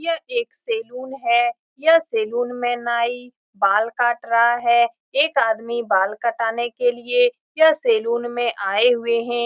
यह एक सैलून है यह सैलून में नाई बाल काट रहा है एक आदमी बाल कटाने के लिए यह सैलून में आए हुए हैं।